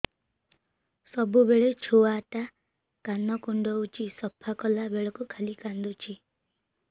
ସବୁବେଳେ ଛୁଆ ଟା କାନ କୁଣ୍ଡଉଚି ସଫା କଲା ବେଳକୁ ଖାଲି କାନ୍ଦୁଚି